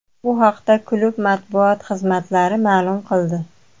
Bu haqda klub matbuot xizmatlari ma’lum qildi.